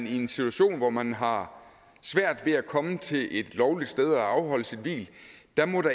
i en situation hvor man har svært ved at komme til et lovligt sted og afholde sit hvil